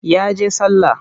Ya je sallah.